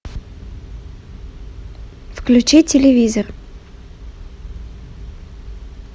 включи телевизор